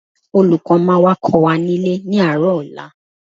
Olùkọ́ máa wá kọ́ wa nílé ní àárọ̀ ọ̀la